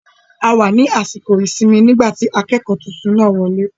A wà ní àsìkò ìsinmi nígbà tí akẹ́kọ̀ọ́ tuntun náà wọ lé